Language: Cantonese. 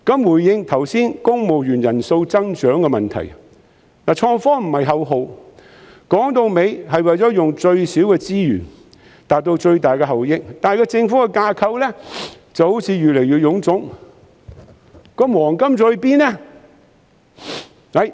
回應剛才談到公務員人數增長的問題，創科不是口號，說到底是為了用最少的資源達到最大的效益，但政府的架構好像越來越臃腫，"黃金時代"在哪裏？